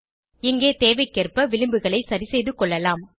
இங்கே தேவைக்கேற்ப விளம்புகளை சரிசெய்துகொள்ளலாம்